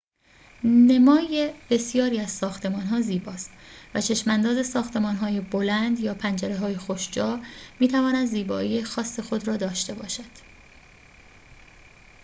نمای بسیاری از ساختمان‌ها زیباست و چشم‌انداز ساختمان‌های بلند یا پنجره‌های خوش‌جا می‌تواند زیبایی خاص خود را داشته باشد